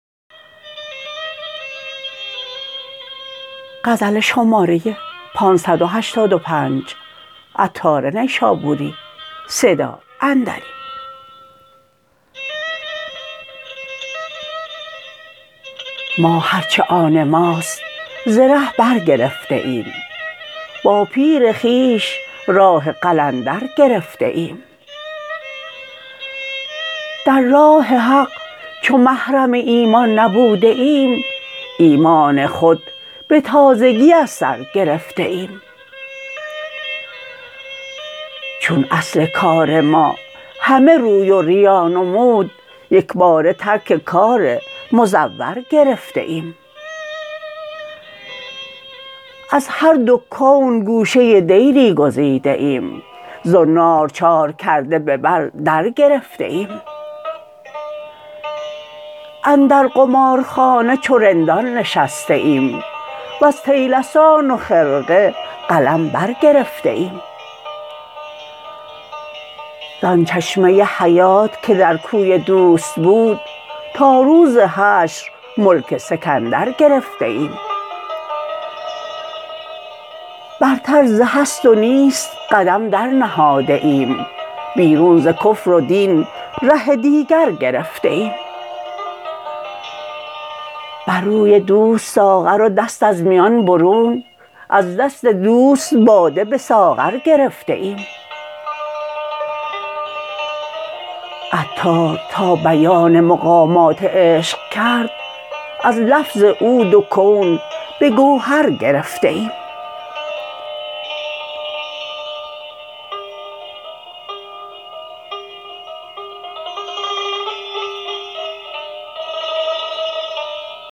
ما هر چه آن ماست ز ره بر گرفته ایم با پیر خویش راه قلندر گرفته ایم در راه حق چو محرم ایمان نبوده ایم ایمان خود به تازگی از سر گرفته ایم چون اصل کار ما همه روی و ریا نمود یکباره ترک کار مزور گرفته ایم از هر دو کون گوشه دیری گزیده ایم زنار چار کرده به بر در گرفته ایم اندر قمارخانه چو رندان نشسته ایم وز طیلسان و خرقه قلم برگرفته ایم زان چشمه حیات که در کوی دوست بود تا روز حشر ملک سکندر گرفته ایم برتر ز هست و نیست قدم در نهاده ایم بیرون ز کفر و دین ره دیگر گرفته ایم بر روی دوست ساغر و دست از میان برون از دست دوست باده به ساغر گرفته ایم عطار تا بیان مقامات عشق کرد از لفظ او دو کون به گوهر گرفته ایم